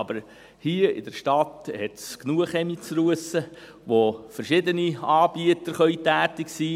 Aber hier, in der Stadt, gibt es genug Kamine zu russen, wo verschiedene Anbieter tätig sein können.